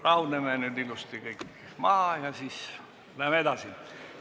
Rahuneme nüüd ilusti kõik maha ja läheme edasi!